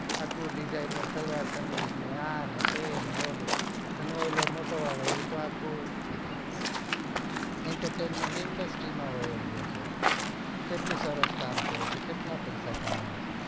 આખો disigner સલવાર કમીજ ને આ ને તે ને ઓલું પેલો મોટો વાળો એતો આખું intetement indastry માં વાયો ગયો છે કેટલું સરસ કામ કરે છે કેટલું પૈસા કમાય છે